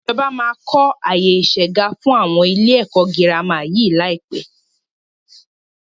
Ìjọba máa kọ àyè isegá fún ilé ẹ̀kọ́ girama yí lai pẹ́